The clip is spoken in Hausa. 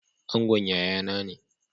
Angon yayana ne.